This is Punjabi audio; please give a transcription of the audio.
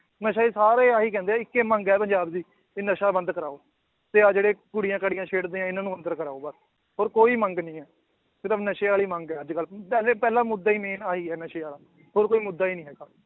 ਨਸ਼ਾ ਹੀ ਸਾਰੇ ਆਹੀ ਕਹਿੰਦੇ ਹੈ ਇੱਕੇ ਮੰਗ ਹੈ ਪੰਜਾਬ ਦੀ ਕਿ ਨਸ਼ਾ ਬੰਦ ਕਰਵਾਓ ਵੀ ਆਹ ਜਿਹੜੇ ਕੁੜੀਆਂ ਕਾੜੀਆਂ ਛੇੜਦੇ ਹੈ, ਇਹਨਾਂ ਨੂੰ ਅੰਦਰ ਕਰਵਾਓ ਬਸ ਹੋਰ ਕੋਈ ਮੰਗ ਨੀ ਹੈ ਨਸ਼ੇ ਵਾਲੀ ਮੰਗ ਹੈ ਅੱਜ ਕੱਲ੍ਹ ਪਹਿਲੇ ਪਹਿਲਾ ਮੁੱਦਾ ਹੀ main ਆਹੀ ਹੈ ਨਸ਼ੇ ਵਾਲਾ ਹੋਰ ਕੋਈ ਮੁੱਦਾ ਹੀ ਨੀ ਹੈਗਾ।